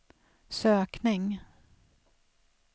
sökning